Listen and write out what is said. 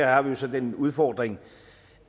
har vi jo så den udfordring